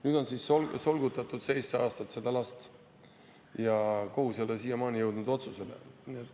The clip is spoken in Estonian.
Nüüd on siis solgutatud seda last seitse aastat ja kohus ei ole siiamaani otsusele jõudnud.